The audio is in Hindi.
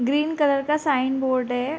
ग्रीन कलर का साइन बोर्ड है।